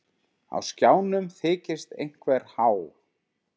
Á skjánum þykist einhver há